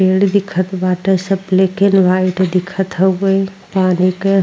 पेड़ दिखत बाटे। सब ब्लैक एण्ड व्हाइट दिखत हउवे। पानी के --